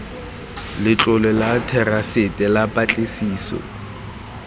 letlole la therasete la patlisiso